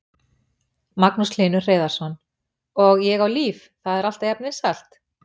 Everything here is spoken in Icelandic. Magnús Hlynur Hreiðarsson: Og Ég á líf, það er alltaf jafn vinsælt?